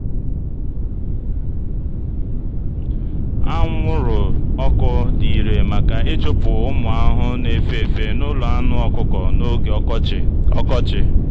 anwụrụ ọkụ dị irè maka ịchụpụ ụmụ ahụhụ na-efe efe n'ụlọ anụ ọkụkọ n'oge ọkọchị. ọkọchị.